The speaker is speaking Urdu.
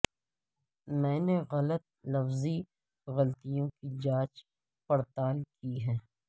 میں نے غلط لفظی غلطیوں کی جانچ پڑتال کی ہے